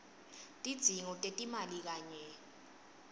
tidzingo tetimali kanye